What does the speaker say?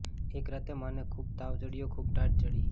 એક રાતે માને ખૂબ તાવ ચડ્યો ખૂબ ટાઢ ચડી